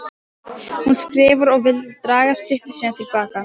Hún skrifar og vill draga styttu sína til baka.